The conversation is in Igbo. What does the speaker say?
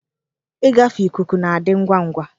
Ịgafe ikuku na-adị ngwa ngwa.